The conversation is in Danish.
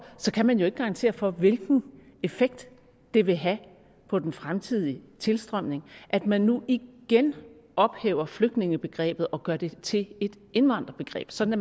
kan man jo ikke garantere for hvilken effekt det vil have på den fremtidige tilstrømning at man nu igen ophæver flygtningebegrebet og gør det til et indvandrerbegreb sådan at